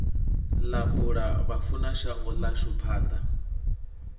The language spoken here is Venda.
ḽa bula vhafunashango ḽashu panḓa